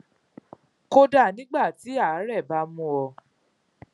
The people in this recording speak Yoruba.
kódà nígbà tí àárè bá mú un ọ